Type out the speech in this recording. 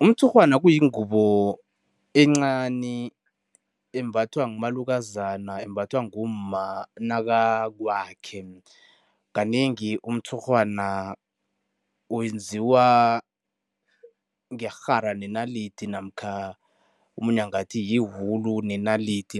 Umtshurhwana kuyingubo encani embathwa ngumalukazana, embathwa ngumma nakakwakhe. Kanengi umtshurhwana wenziwa ngerhara nenalidi namkha omunye angathi yiwulu nenalidi.